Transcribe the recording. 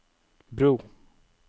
bro